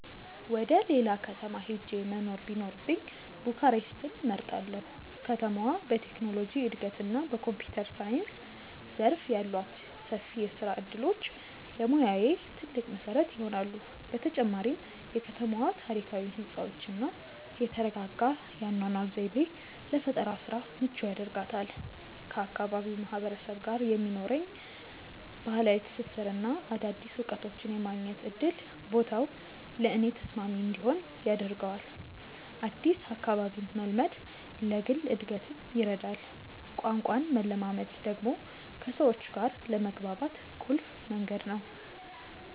ወደ ሌላ ከተማ ሄጄ መኖር ቢኖርብኝ ቡካሬስትን እመርጣለሁ። ከተማዋ በቴክኖሎጂ እድገትና በኮምፒውተር ሳይንስ ዘርፍ ያሏት ሰፊ የስራ እድሎች ለሙያዬ ትልቅ መሰረት ይሆናሉ። በተጨማሪም የከተማዋ ታሪካዊ ህንፃዎችና የተረጋጋ የአኗኗር ዘይቤ ለፈጠራ ስራ ምቹ ያደርጋታል። ከአካባቢው ማህበረሰብ ጋር የሚኖረኝ ባህላዊ ትስስርና አዳዲስ እውቀቶችን የማግኘት እድል ቦታው ለእኔ ተስማሚ እንዲሆን ያደርገዋል። አዲስ አካባቢን መልመድ ለግል እድገትም ይረዳል። ቋንቋን መለማመድ ደግሞ ከሰዎች ጋር ለመግባባት ቁልፍ መንገድ ነው።